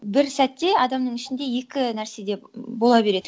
бір сәтте адамның ішінде екі нәрсе де бола береді